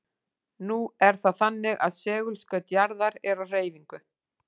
Nú er það þannig að segulskaut jarðar er á hreyfingu.